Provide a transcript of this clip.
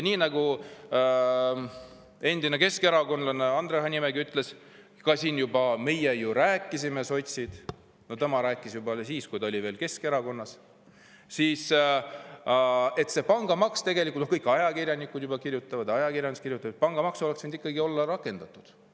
Nii nagu endine keskerakondlane Andre Hanimägi ütles, et meie, sotsid, ju rääkisime, ja tema rääkis juba siis, kui ta oli veel Keskerakonnas, ja kõik ajakirjanikud juba kirjutavad, ajakirjandus kirjutab, et pangamaks oleks võinud ikkagi olla rakendatud.